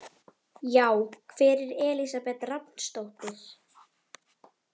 Já, hver er Elísabet Rafnsdóttir?